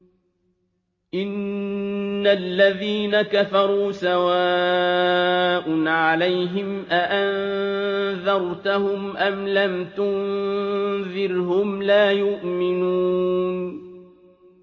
إِنَّ الَّذِينَ كَفَرُوا سَوَاءٌ عَلَيْهِمْ أَأَنذَرْتَهُمْ أَمْ لَمْ تُنذِرْهُمْ لَا يُؤْمِنُونَ